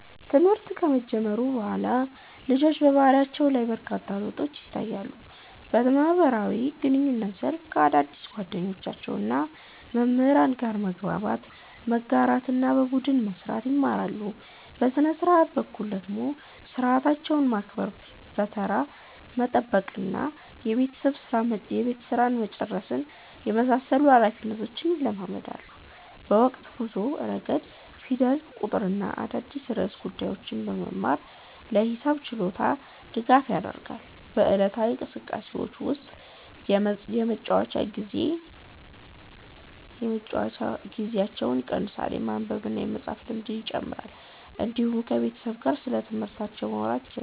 ትምህርት ከጀመሩ በኋላ ልጆች በባህሪያቸው ላይ በርካታ ለውጦች ይታያሉ። በማህበራዊ ግንኙነት ዘርፍ ከአዳዲስ ጓደኞችና መምህራን ጋር መግባባት፣ መጋራትና በቡድን መስራት ይማራሉ። በሥነ-ሥርዓት በኩል ደግሞ ሰዓታቸውን ማክበር፣ ተራ መጠበቅና የቤት ሥራ መጨረስን የመሳሰሉ ኃላፊነቶች ይለማመዳሉ። በማወቅ ጉዞ ረገድ ፊደል፣ ቁጥርና አዳዲስ ርዕሰ ጉዳዮችን በመማር የማሰብ ችሎታቸው ያድጋል። በዕለታዊ እንቅስቃሴዎቻቸው ውስጥ የመጫወቻ ጊዜያቸው ይቀንሳል፣ የማንበብና የመፃፍ ልምድ ይጨምራል፣ እንዲሁም ከቤተሰብ ጋር ስለትምህርታቸው ማውራት ይጀምራሉ።